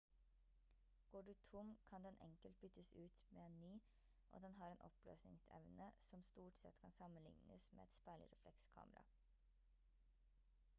går du tom kan den enkelt byttes ut med en ny og den har en oppløsningsevne som stort sett kan sammenlignes med et speilreflekskamera